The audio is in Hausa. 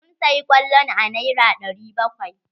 Sun saya kwallon a nera ɗari bakwai.